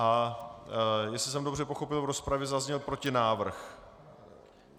A jestli jsem dobře pochopil - v rozpravě zazněl protinávrh.